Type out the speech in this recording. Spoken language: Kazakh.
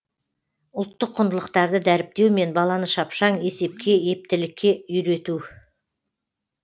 ұлттық құндылықтарды дәріптеу мен баланы шапшаң есепке ептілікке үйрету